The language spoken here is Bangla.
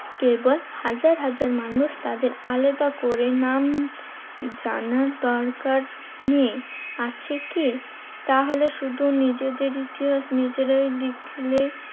কেবল হাজার হাজার মানুষ তাদের আলাদা করে নাম জানার দরকার নেই, আছে কি? তাহলে শুধু নিজেদের ইতিহাস নিজেরাই লিখলে